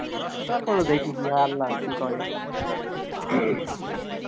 তারপরও দেখি কি হয়, আল্লাহ কি করে